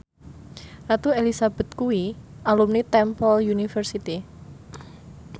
Ratu Elizabeth kuwi alumni Temple University